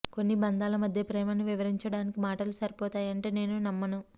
కొన్ని బంధాల మధ్య ప్రేమను వివరించడానికి మాటలు సరిపోతాయంటే నేను నమ్మను